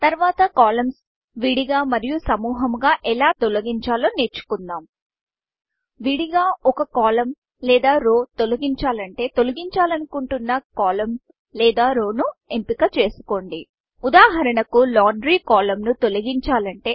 తర్వాత columnsకాలమ్స్ విడిగా మరియు సముహముగా ఎలా తొలగించాలో నేర్చుకుందాం విడిగా ఒక కోలమ్న్ కాలమ్లేదా రౌ రోతొలగించాలంటే తొలగించాలనుకుంటున్న columnకాలమ్ లేదా రౌ రోను ఎంపిక చేసుకోండి ఉదాహరణకు లాండ్రీ కోలమ్న్ లాండ్రీ కాలమ్ను తొలగించాలంటే